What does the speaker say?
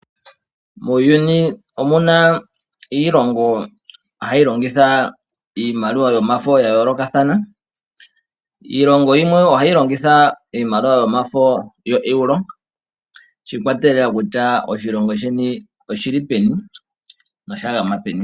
Muuyuni omuna iilongo hayi longitha iimaliwa yomafo ya yoolokathana, iilongo yimwe ohayi longitha iimaliwa yomafo yoEuro, shi ikwatelela kutya oshilongo sheni oshi li peni/ osha gama peni.